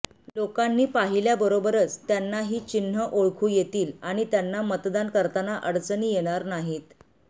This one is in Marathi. लोकांनी पाहिल्याबरोबरच त्यांना ही चिन्ह ओळखू येतील आणि त्यांना मतदान करताना अडचणी येणार नाहीत